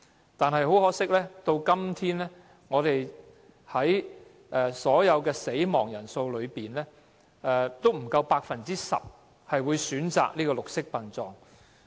然而，很可惜，相對於整體死亡人數，不足 10% 的先人家屬會選擇綠色殯葬。